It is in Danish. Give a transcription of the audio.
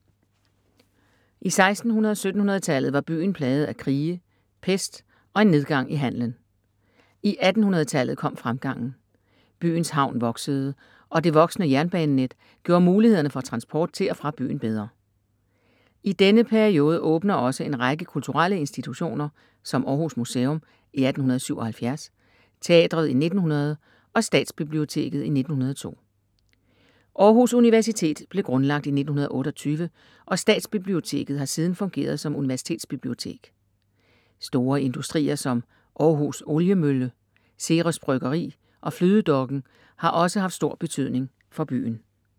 I 1600 og 1700 tallet var byen plaget af krige, pest og en nedgang i handelen. I 1800 tallet kom fremgangen. Byens havn voksede og det voksende jernbanenet, gjorde mulighederne for transport til og fra byen bedre. I denne periode åbner også en række kulturelle institutioner, som Århus museum i 1877, teatret i 1900 og Statsbiblioteket i 1902. Århus universitet blev grundlagt i 1928 og Statsbiblioteket har siden fungeret som universitetsbibliotek. Store industrier, som Århus Oliemølle, Ceres bryggeri og flydedokken har også haft stor betydning for byen.